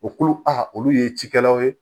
U kolo a olu ye cikɛlaw ye